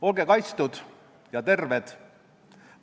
Olge kaitstud ja terved!